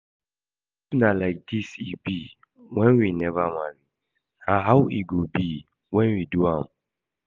If na like this e be when we never marry, na how e go be when we do am?